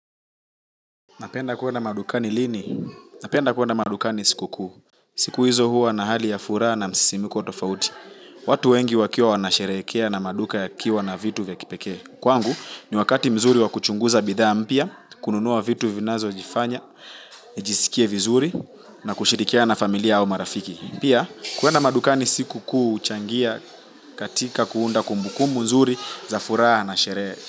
Napenda kwenda madukani lini? Napenda kwenda madukani siku kuu. Siku hizo huwa na hali ya furaha na msisimko tofauti. Watu wengi wakiwa wanasherehekea na maduka yakiwa na vitu vya kipekee kwangu ni wakati mzuri wa kuchunguza bidhaa mpya kununua vitu vinazonifanya nijisikie vizuri na kushirikiana na familia au marafiki. Pia, kwenda madukani siku kuu huchangia katika kuunda kumbukumbu nzuri za furaha na sherehe.